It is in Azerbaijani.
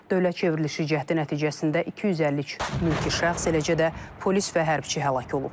Dövlət çevrilişi cəhdi nəticəsində 252 mülki şəxs, eləcə də polis və hərbçi həlak olub.